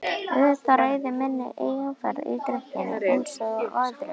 Auðvitað ræð ég minni eigin ferð í drykkjunni einsog öðru.